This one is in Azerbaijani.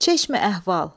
Çeşmə əhval.